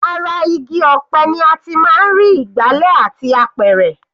Ara igi ọ̀pẹ ni a ti máa ń rí ìgbálẹ̀ àti apẹ̀rẹ̀.